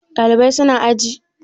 Ɗalibai su na aji?